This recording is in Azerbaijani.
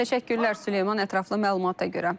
Təşəkkürlər Süleyman ətraflı məlumata görə.